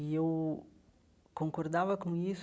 E eu concordava com isso.